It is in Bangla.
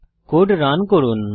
কোড রান করুন